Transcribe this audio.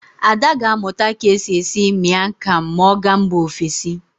Ada ga-amụta ka e si esi Mian kam ma ọ gaa mba ofesi.